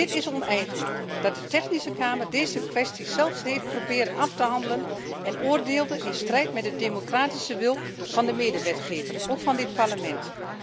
Het is oneigenlijk dat de Technische Kamer deze kwestie zelf heeft proberen af te handelen en oordeelde in strijd met de democratische wil van de medewetgever, ook van dit Parlement.